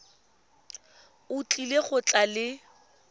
o tlile go tla le